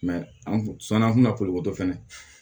an kun sɔn na an kun na ko to fɛnɛ